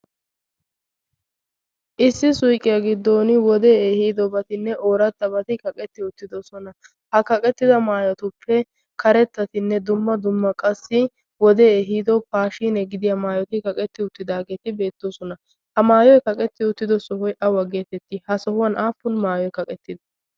issi suiqqiyaa giddon wode ehiidobatinne oorattabati kaqetti uttidosona ha kaqettida maayotuppe karettatinne dumma dumma qassi wode ehiido paashine gidiya maayoti kaqetti uttidaageeti beettoosona ha maayoi kaqetti uttido sohoi a wa geetetti ha sohuwan aappun maayoi kaqettidde?